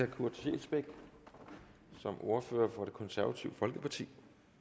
kurt scheelsbeck som ordfører for det konservative folkeparti